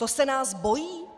To se nás bojí?